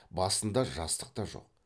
басында жастық та жоқ